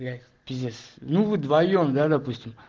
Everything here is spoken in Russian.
блядь пиздец ну мы вдвоём да допустим